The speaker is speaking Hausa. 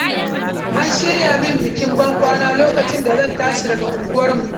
An shirya min bikin ban kwana, lokacin da zan tashi daga unguwarmu.